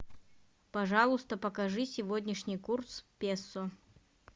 пожалуйста покажи сегодняшний курс песо